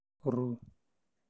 ru